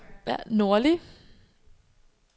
nordlige